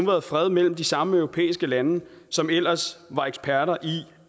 været fred mellem de samme europæiske lande som ellers var eksperter i